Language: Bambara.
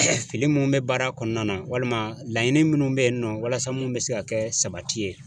Fili munnu b baara kɔnɔna na, walima laɲini munnu be yen nɔ walasa munnu be se ka kɛ sabati ye.